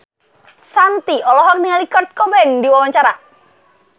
Shanti olohok ningali Kurt Cobain keur diwawancara